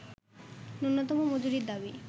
ন্যূনতম মজুরির দাবি